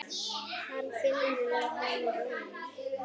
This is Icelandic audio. Hann finnur að hann roðnar.